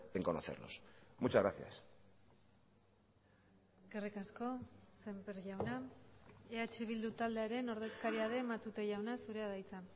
en conocerlos muchas gracias eskerrik asko semper jauna eh bildu taldearen ordezkaria den matute jauna zurea da hitza